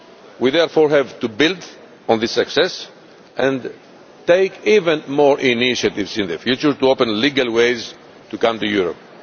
We therefore have to build on this success and take even more initiatives in the future to open legal ways to come to Europe.